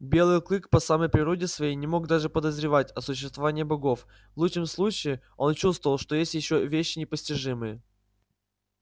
белый клык по самой природе своей не мог даже подозревать о существовании богов в лучшем случае он чувствовал что есть ещё вещи непостижимые